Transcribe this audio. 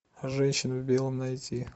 женщина в белом найти